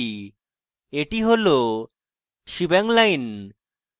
এটি হল shebang line